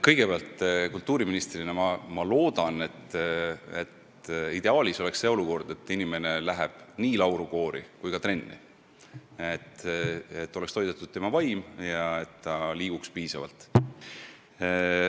Kõigepealt, kultuuriministrina ma loodan, et tekib ideaalne olukord: et inimene läheb nii laulukoori kui ka trenni, saab toidetud tema vaim ja ta ka liigub piisavalt.